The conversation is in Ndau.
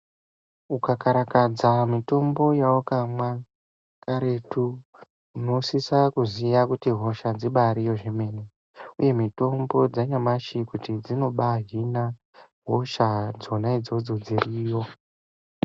Ukakarakadza mitombo yawakamwa kartu, unosisa kuziya kuti hosha dzibariyo zvemene, uye mitombo dzanyamashi kuti dzinobaa hina hosha dzona idzodzo dziriyo.